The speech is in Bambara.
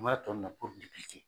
Ma na ntɔn